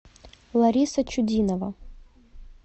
лариса чудинова